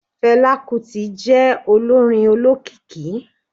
fela kuti je olorín ólọkíkí